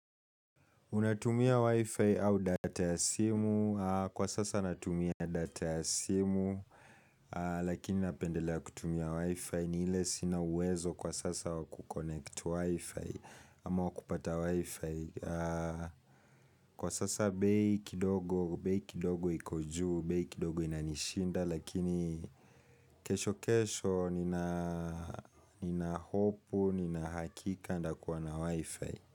Unatumia wifi au data ya simu, kwa sasa natumia data ya simu, lakini napendelea kutumia wifi ni ile sina uwezo kwa sasa wakuconnect wifi, ama wakupata wifi. Kwa sasa bei kidogo, bei kidogo iko juu, bei kidogo inanishinda, lakini kesho kesho ninahopu, ninahakika ntakuwa na wifi.